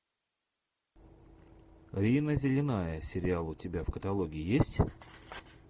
рина зеленая сериал у тебя в каталоге есть